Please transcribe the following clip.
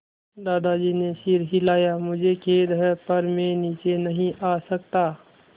दादाजी ने सिर हिलाया मुझे खेद है पर मैं नीचे नहीं आ सकता